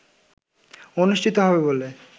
অনুষ্ঠিত হবে বলে